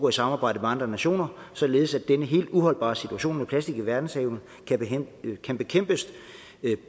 et samarbejde med andre nationer således at denne helt uholdbare situation med plastik i verdenshavene kan kan bekæmpes